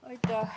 Aitäh!